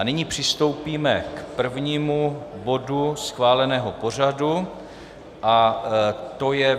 A nyní přistoupíme k prvnímu bodu schváleného pořadu a to je